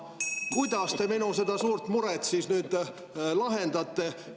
Kuidas te seda minu suurt muret siis nüüd lahendate?